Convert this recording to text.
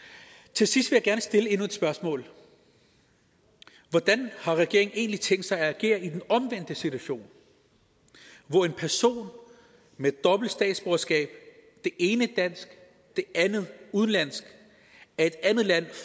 til sidst vil jeg gerne stille endnu et spørgsmål hvordan har regeringen egentlig tænkt sig at agere i den omvendte situation hvor en person med dobbelt statsborgerskab det ene dansk det andet udenlandsk af et andet land